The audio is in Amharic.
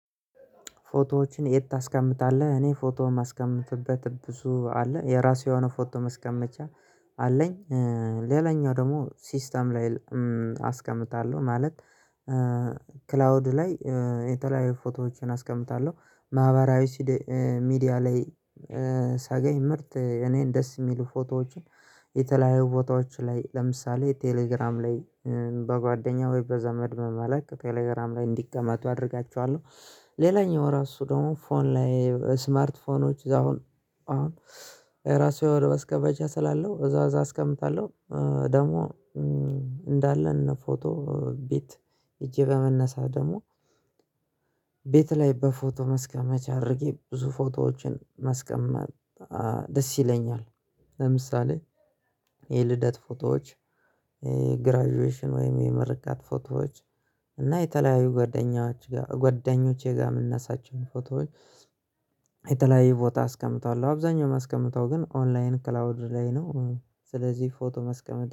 ፎቶዎችን የት ታስቀምጣለህ? እኔ ፎቶ የማስቀምጥበት ብዙ አለ የራሱ የሆነ ፎቶ መስቀመጫ አለኝ። ሌላኛው ደግሞ ሲስተም ላይ አስቀምጣለሁ ማለት ላይ የተለያዩ ፎቶዎችን አስቀምጣለሁ። ማህበራዊ ሚዲያ ላይ ሰገኝ ምርጥ እኔን ደስ የሚሉ ፎቶዎችን የተለያዩ ፎቶዎች ላይ ለምሳሌ ቴሌግራም ላይ በጓደኛ ወይ በዘመድ በመላክ ቴሌግራም ላይ እንዲቀመጡ አደርጋቸዋለሁ። ሌላኛው ራሱ ደግሞ ፎን ላይ ስማርት ስልኮች አሁን አሁን ራሱ ወደ መስከበጃ ስላለው እዛ እዛ አስቀምጣለሁ። ደግሞ እንዳለን ፎቶ ቤት ሄጄ በመነሳት ደግሞ ቤት ላይ በፎቶ መስክ አምቼ አድርጌ ብዙ ፎቶዎችን መስቀመጥ ደስ ይለኛል። ለምሳሌ የልደት ፎቶዎች ግራጁዌሽን ወይም የምርቃት ፎቶዎች እና የተለያዩ ጓደኞቼ ጋር መነሳቸውን ፎቶዎች የተለያየ ቦታ አስቀምጣለሁ አብዛኛው ማስቀምጠው ግን ኦንላይን ክላውድ ላይ ነው። ስለዚህ ፎቶ ማስቀመጥ